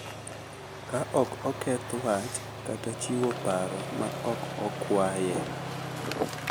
Ka ok oketh wach kata chiwo paro ma ok okwaye.